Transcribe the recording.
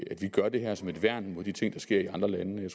at vi gør det her som et værn imod de ting der sker i andre lande jeg